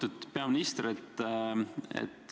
Lugupeetud peaminister!